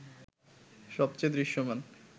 সবচেয়ে দৃশ্যমান